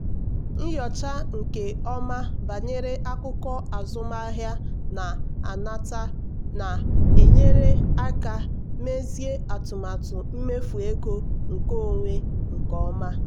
nyochaa nke ọma banyere akụkọ azụmahịa na nnata na-enyere aka mezie atụmatụ mmefu ego nkeonwe nke ọma.